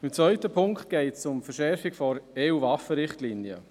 Beim zweiten Punkt geht es um die Verschärfung der EU-Waffenrichtlinie.